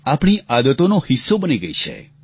આપણી આદતોનો હિસ્સો બની ગઈ છે